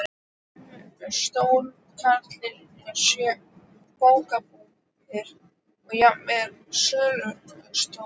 Fimm stórmarkaðir, sjö bókabúðir og jafnmargir sölustjórar.